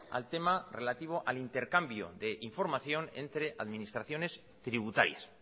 al tema relativo al intercambio de información entre administraciones tributarias